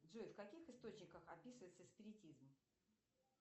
джой в каких источниках описывается спиритизм